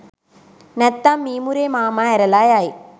නැත්තං මිමුරේ මාමා ඇරලා යයි